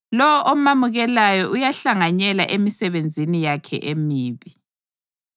Lowo omamukelayo uyahlanganyela emisebenzini yakhe emibi.